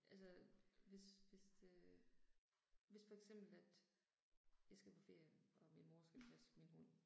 Altså hvis hvis øh hvis for eksempel at jeg skal på ferie, og min mor skal passe min hund